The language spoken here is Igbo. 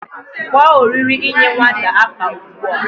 Kpo oriri inye nwata afa ugbua